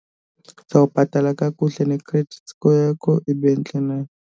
Uzawubhatala kakuhle ne-credit score yakho ibe ntle nayo.